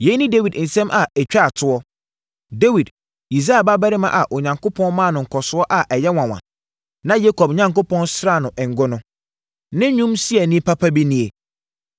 Yei ne Dawid nsɛm a ɛtwaa toɔ: “Dawid, Yisai ba barima a Onyankopɔn maa no nkɔsoɔ a ɛyɛ nwanwa, na Yakob Onyankopɔn sraa no ngo no, ne nnwomsiaani papa bi nie: